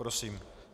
Prosím.